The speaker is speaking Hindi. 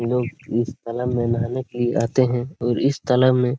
लोग इस तालाब में नहाने के लिए आते हैं और इस तालाब मे--